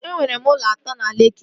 E nwere m ụlọ atọ na Lekki